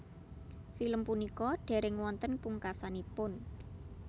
Film punika dereng wonten pungkasanipun